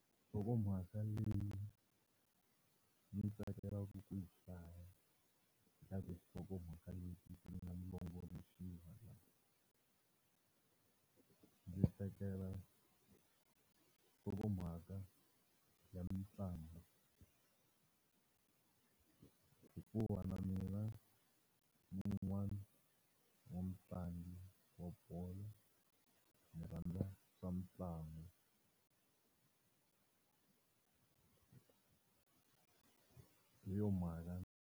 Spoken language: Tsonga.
Nhlokomhaka leyi ni tsakelaka ku yi hlaya ka tinhlokomhaka leti ti nga longoloxiwa ndzi tsakela nhlokomhaka ya mitlangu. Hikuva na mina ni un'wana wa mutlangi wa bolo ni rhandza swa mitlangu hi yo mhaka.